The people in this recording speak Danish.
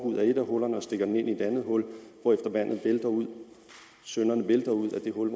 ud af et af hullerne og stikker den i et andet hul hvorefter vandet vælter ud synderne vælter ud af det hul